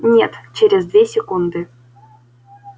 нет через две секунды